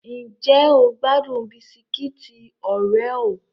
Ǹjẹ́ o gbádùn Bisikiti oreo?